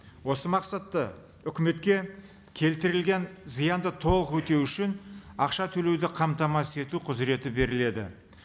осы мақсатта үкіметке келтірілген зиянды толық өтеу үшін ақша төлеуді қамтамасыз ету құзыреті беріледі